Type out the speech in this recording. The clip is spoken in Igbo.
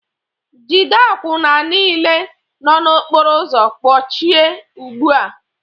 Jide àkwụnà niile nọ n'okpóró ụzọ kpọchie ugbu a!